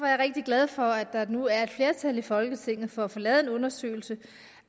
jeg rigtig glad for at der nu er et flertal i folketinget for at få lavet en undersøgelse